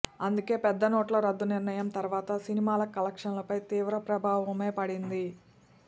అందుకే పెద్ద నోట్ల రద్దు నిర్ణయం తర్వాత సినిమాల కలెక్షన్లపై తీవ్ర ప్రభావమే పడింది